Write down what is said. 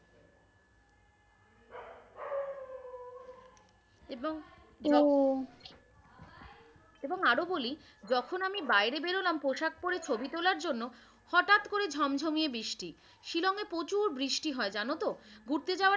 এবং ও এবং আরো বলি যখন আমি বাইরে বেরোলাম পোশাক পরে ছবি তোলার জন্য হঠাৎ করে ঝমঝমিয়ে বৃষ্টি শিলংয়ে প্রচুর বৃষ্টি হয় জানো তো। ঘুরতে যাওয়া